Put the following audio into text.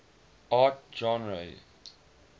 art genres